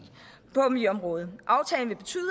på miljøområdet aftalen vil betyde